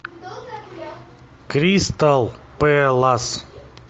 кристал пэлас